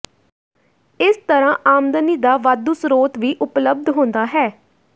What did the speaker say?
ਇਸ ਤਰ੍ਹਾਂ ਆਮਦਨੀ ਦਾ ਵਾਧੂ ਸਰੋਤ ਵੀ ਉਪਲਬਧ ਹੁੰਦਾ ਹੈ